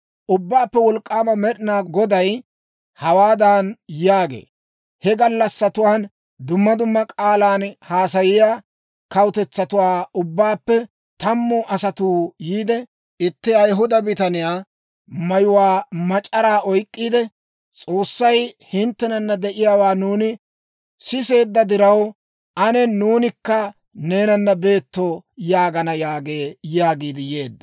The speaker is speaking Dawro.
«Ubbaappe Wolk'k'aama Med'inaa Goday hawaadan yaagee; ‹He gallassatuwaan dumma dumma k'aalan haasayiyaa kawutetsatuwaa ubbaappe tammu asatuu yiide, itti Ayihuda bitaniyaa mayuwaa mac'araa oyk'k'iide, «S'oossay hinttenana de'iyaawaa nuuni siseedda diraw, ane nuunikka neenana beeto» yaagana› yaagee» yaagiid yeedda.